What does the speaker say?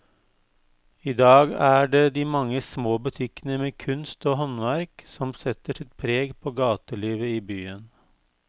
I dag er det de mange små butikkene med kunst og håndverk som setter sitt preg på gatelivet i byen.